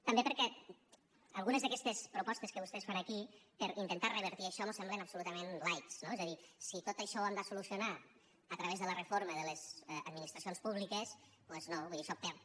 també perquè algunes d’aquestes propostes que vostès fan aquí per intentar revertir això mos semblen absolutament light no és a dir si tot això ho hem de solucionar a través de la reforma de les administracions públiques doncs no vull dir això perd